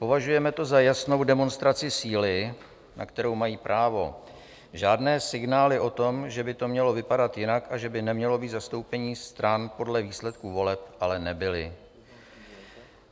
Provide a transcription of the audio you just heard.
Považujeme to za jasnou demonstraci síly, na kterou mají právo, žádné signály o tom, že by to mělo vypadat jinak a že by nemělo být zastoupení stran podle výsledků voleb, ale nebyly.